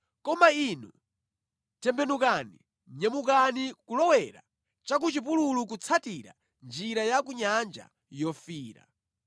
Koma inu, tembenukani nyamukani kulowera cha ku chipululu kutsatira njira ya ku Nyanja Yofiira.”